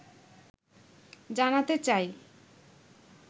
জানাতে চাই